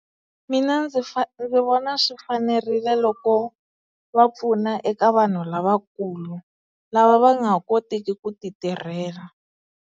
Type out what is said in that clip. Mina ndzi vona swi fanerile loko va pfuna eka vanhu lavakulu lava va nga ha koteki ku ti tirhela.